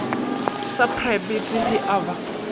sa praebete ge e ba